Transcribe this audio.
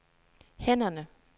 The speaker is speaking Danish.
hænderne